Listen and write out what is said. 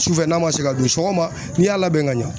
Sufɛ n'a man se ka dun sɔgɔma n'i y'a labɛn ka ɲɛ